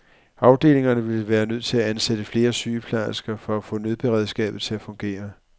Afdelingerne ville være nødt til at ansætte flere sygeplejersker for at få nødberedskabet til at fungere.